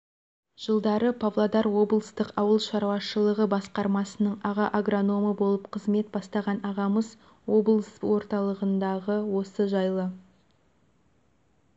жылдары павлодар облыстық ауыл шаруашылығы басқармасының аға агрономы болып қызмет бастаған ағамыз облыс орталығындағы осы жайлы